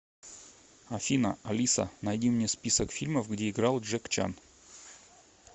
афина алиса найди мне список фильмов где играл джек чан